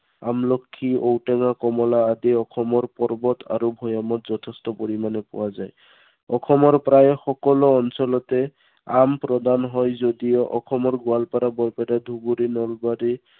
আমলখি, ঔটেঙা, কমলা আদি অসমৰ পৰ্বত আৰু ভৈয়ামত যথেষ্ট পৰিমানে পোৱা যায়। অসমৰ প্ৰায় সকলো অঞ্চলতে, আম প্ৰদান হয় যদিও অসমৰ গোৱালপাৰা, বৰপেটা, ধুবুৰী, নলবাৰী